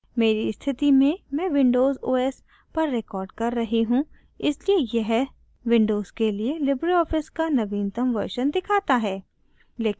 मेरी स्थिति में मैं windows os पर recording कर रही हूँ इसलिए यह windows के लिए libreoffice का नवीनतम version दिखाता है